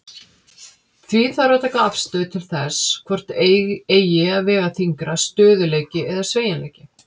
Því þarf að taka afstöðu til þess hvort eigi að vega þyngra, stöðugleiki eða sveigjanleiki.